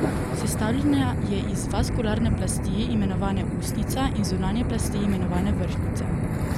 Sestavljena je iz vaskularne plasti, imenovane usnjica, in zunanje plasti, imenovane vrhnjica.